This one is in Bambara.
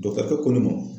Dɔkitɛri ko ma